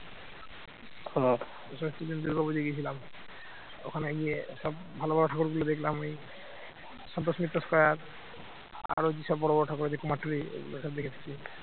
সন্তোষ Mitra square আরো কি সব বড় বড় ঠাকুর আছে কুমোরটুলি ওগুলো সব দেখে এসেছি